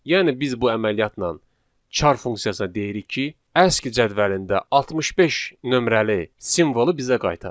Yəni biz bu əməliyyatla char funksiyasına deyirik ki, aski cədvəlində 65 nömrəli simvolu bizə qaytar.